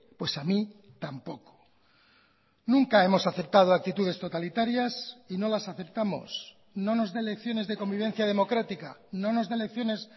pues a mí tampoco nunca hemos aceptado actitudes totalitarias y no las aceptamos no nos dé lecciones de convivencia democrática no nos dé lecciones